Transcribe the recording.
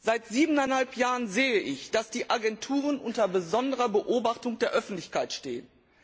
Seit siebeneinhalb Jahren sehe ich, dass die Agenturen unter besonderer Beobachtung der Öffentlichkeit stehen.